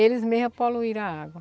Eles mesmo poluíram a água.